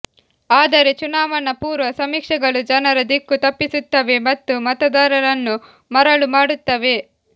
ಆದರೆ ಚುನಾವಣಾ ಪೂರ್ವ ಸಮೀಕ್ಷೆಗಳು ಜನರ ದಿಕ್ಕು ತಪ್ಪಿಸುತ್ತವೆ ಮತ್ತು ಮತದಾರರನ್ನು ಮರಳು ಮಾಡುತ್ತವೆ